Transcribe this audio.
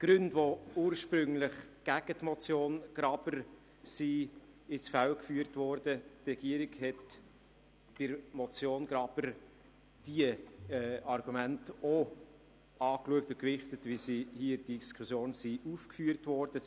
Zu den Gründen, die ursprünglich gegen die Motion Graber ins Feld geführt worden waren: Die Regierung hat bei der Motion Graber diese Argumente auch angeschaut und gewichtet, wie sie hier in der Diskussion aufgeführt worden sind.